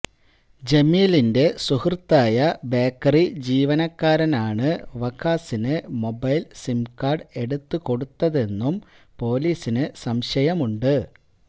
ജമീലിന്റെ സുഹൃത്തായ ബേക്കറി ജീവനക്കാരനാണ് വഖാസിന് മൊബൈൽ സിംകാർഡ് എടുത്ത് കൊടുത്തതെന്നും പൊലീസിന് സംശയമുണ്ട്